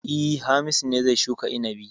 E, Hamisu ne zai shuka inabi.